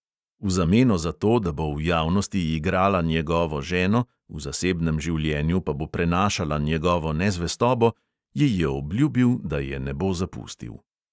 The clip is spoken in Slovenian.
V zameno za to, da bo v javnosti igrala njegovo ženo, v zasebnem življenju pa bo prenašala njegovo nezvestobo, ji je obljubil, da je ne bo zapustil.